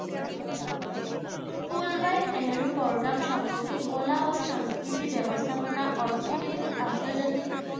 Fulbright Nehru programme সম্পর্কে কলা ও সংস্কৃতি ব্যাবস্থাপনা অর্থনীতি আন্তর্জাতিক